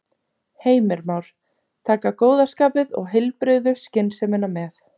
Heimir Már: Taka góða skapið og heilbrigðu skynsemina með?